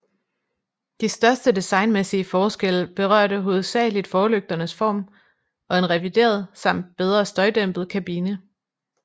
De største designmæssige forskelle berørte hovedsageligt forlygternes form og en revideret samt bedre støjdæmpet kabine